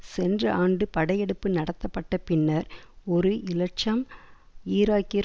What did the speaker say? சென்ற ஆண்டு படையெடுப்பு நடத்தப்பட்டபின்னர் ஒரு இலட்சம் ஈராக்கியர்